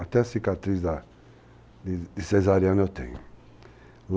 Até cicatriz de cesariana eu tenho.